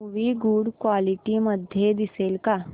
movie good quality मध्ये दिसेल का